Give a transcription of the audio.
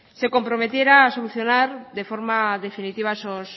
se comprometiera a solucionar de forma definitiva esos